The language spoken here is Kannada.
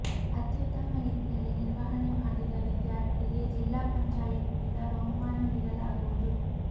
ಅತ್ಯುತ್ತಮ ರೀತಿಯಲ್ಲಿ ನಿರ್ವಹಣೆ ಮಾಡಿದ ವಿದ್ಯಾರ್ಥಿಗೆ ಜಿಲ್ಲಾ ಪಂಚಾಯತ್ನಿಂದ ಬಹುಮಾನ ನೀಡಲಾಗುವುದು